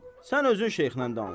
Sən özün şeyxlə danış.